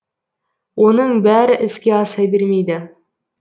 оның бәрі іске аса бермейді